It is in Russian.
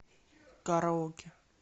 караоке